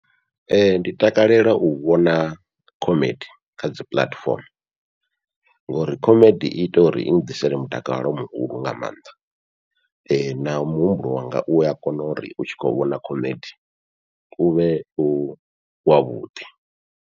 Ee ndi takalela u vhona khomedi kha dzi puḽatifomo, ngori khomedi iita uri i ḓisele mutakalo muhulu nga maanḓa na muhumbulo wanga ua kona uri u tshi kho vhona khomedi uvhe u wavhuḓi.